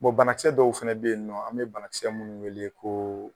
banakisɛ dɔw fɛnɛ bɛ ye nɔ an bɛ banakisɛ minnu wele ko